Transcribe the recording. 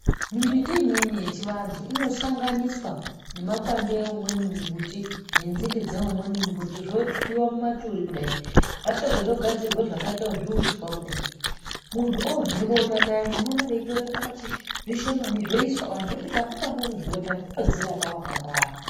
Mumbiti imweni yechivandu inosanganiswa nemakwande eimweni mumbiti nenzinde dzeimweni mumbiti zvotwiwa mumaturi kudai zvapedza zvogadzirwa zvakaita zviuswa kudai, mundu orye bota payeni unoona veitora zvishomani zvoiswa oti kambu kambu muzvibota, kutozvirapa kwakangwara.